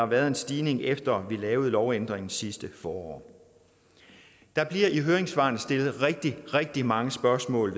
været stigende efter vi lavede en lovændring sidste forår der bliver i høringssvarene stillet rigtig rigtig mange spørgsmål